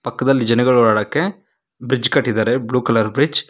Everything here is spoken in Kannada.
ಪಕ್ಕದಲ್ಲಿ ಜನಗಳು ಓಡಾಡಕ್ಕೆ ಬ್ರಿಡ್ಜ್ ಕಟ್ಟಿದ್ದಾರೆ ಬ್ಲೂ ಕಲರ್ ಬ್ರಿಡ್ಜ್ .